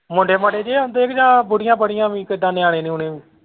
ਮੁੰਡੇ ਮਾਂਡੇ ਨਹੀਂ ਆਉਂਦੇ ਕਿ ਜਾਂ ਬੁੱਢੀਆਂ ਬੱਢੀਆਂ ਵੀ ਕਿਦਾਂ ਨਿਆਣੇ ਨੁਅਣੇ ਵੀ।